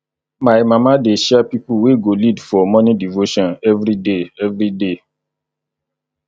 my mama dey share pipo wey go lead for morning devotion everyday everyday